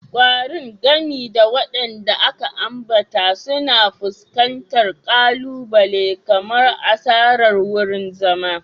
Ƙwarin, gami da waɗanda aka ambata, suna fuskantar ƙalubale kamar asarar wurin zama.